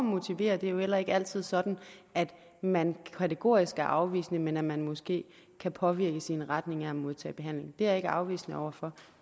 motivere det er jo heller ikke altid sådan at man kategorisk er afvisende men at man måske kan påvirkes i retning af at modtage behandling jeg er ikke afvisende over for